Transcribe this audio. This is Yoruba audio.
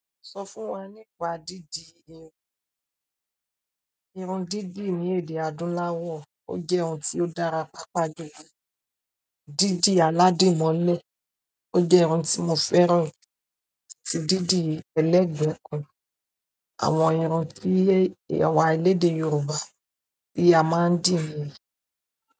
Sọ fún wa nípa dídí irun. Irun dídí ní èdè àdúláwọ̀, ó jẹ́ ohun tí ó dára pàápàá jùlọ. Dídì aládìmọ́lẹ̀ ó jẹ́ ohun tí mo fẹ́ràn ju dídì ẹlẹ́gbẹ̀kù, àwọn irun tí awà elede Yorùbá ti a máa ń dì ní.